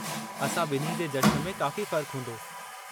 असां ॿिन्ही जे जश्न में काफ़ी फ़र्क़ु हूंदो।